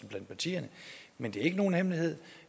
blandt partierne men det er ikke nogen hemmelighed